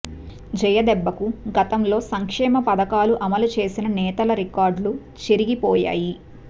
జయ దెబ్బకు గతంలో సంక్షేమ పథకాలు అమలు చేసిన నేతల రికార్డులు చెరిగిపోయాయి